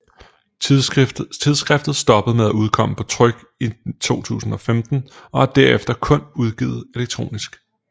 Tidsskriftet stoppede med at udkomme på tryk i 2015 og er derefter kun udgivet elektronisk